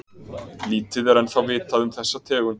lítið er ennþá vitað um þessa tegund